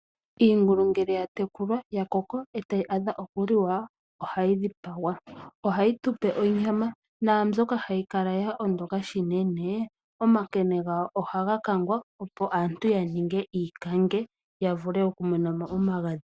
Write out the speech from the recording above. Iingulu ngele ya tekulwa , ya koko eta yi adha okuliwa, ohayi dhipagwa. Ohayi tupe onyama, naambyoka hayi kala yo ondoka unene, omankene gawo ohaa kangwa opo aantu ya ninge iikakulwa ya vule okumona mo omagadhi.